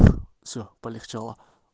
все полегчало